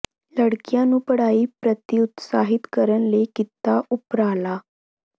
ਲੜਕੀਆਂ ਨੂੰ ਪੜ੍ਹਾਈ ਪ੍ਰਤੀ ਉਤਸ਼ਾਹਿਤ ਕਰਨ ਲਈ ਕੀਤਾ ਉਪਰਾਲਾ